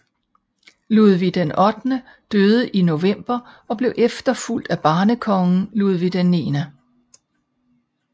Ludvig VIII døde i november og blev efterfulgt af barnekongen Ludvig IX